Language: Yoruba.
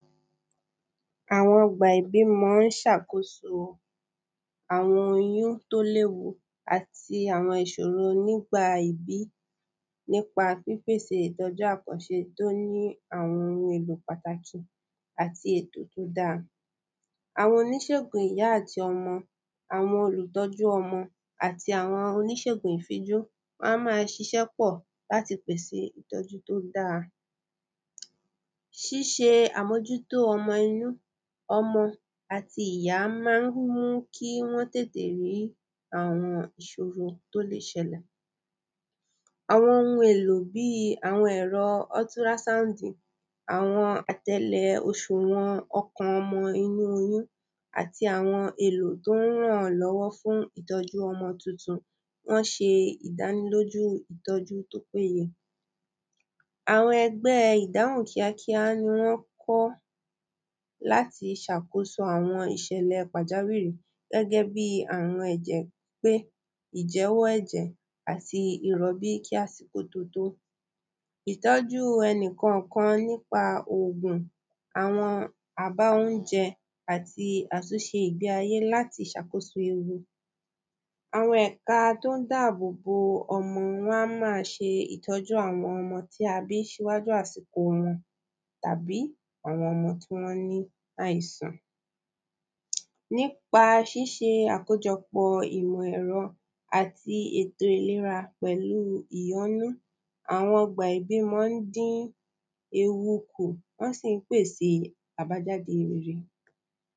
Àwọn ọ̀gbà ìbímọ ń ṣàkóso àwọn oyún tí ó léwu àti àwọn ìṣòro nígbà ìbí nípa pípèsè ìtọ́jú àkànṣe tí ó ní àwọn oun èlò pàtàkì àti ètò tí ó da Àwọn oníṣègùn ìyá àti ọmọ àwọn olùtọ́jú ọmọ àti àwọn oníṣègùn ìfíjú wọ́n á máa ṣiṣe pọ̀ láti pèsè ìtọ́jú tí ó dáa Ṣiṣe àmójútó ọmọ inú ọmọ àti ìyá máa ń mú kí wọ́n tètè rí àwọn ìṣòro tí ó lè ṣẹlè Àwọn oun èlò bíi ẹ̀rọ ultrasound àwọn atẹ́lẹ̀ òṣùwọ̀n ọkàn ọmọ inú oyún àti àwọn èlò tí ó ran èyàn lọ́wọ́ fún ìtọ́jú ọmọ tuntun Wọ́n ṣe ìdánilójú ìtọ́jú tí ó péye Àwọn ẹgbẹ́ ìdáhùn kíákíá ni wọ́n kọ́ láti ṣàkóso àwọn ìṣẹ̀lẹ̀ pàjáwìrì gẹ́gẹ́ bíi àwọn ẹ̀jẹ̀ pípé ìyẹwò ẹ̀jẹ̀ àti ìrọbí kí àsìkò tó to̊ Ìtọ́jú ẹnikànkan nípa ògùn àwọn aba óunjẹ àti àtúnṣe ìgbé ayé láti ṣàkóso ewu Àwọn ẹ̀ka tí ó ń dá àbò ọmọ wọ́n á máa ṣe a ìtọ́jú àwọn tí á bí ṣíwájú àsìkò wọn tàbí àwọn ọmọ tí wọ́n ní àìsàn Nípa ṣiṣe àkójọpọ̀ ìmọ̀ ẹ̀rọ àti ètò ìlera pẹ̀lú ìyọnú àwọn ọgbà ìbímọ ń dín ewu kù wọ́n sì ń pèsè àbájáde